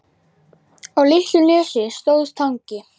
Á litlu nesi stóð Tangi.